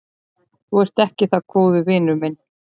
Þú ert ekki það góður vinur minn.